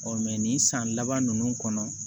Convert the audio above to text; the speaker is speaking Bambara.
nin san laban ninnu kɔnɔ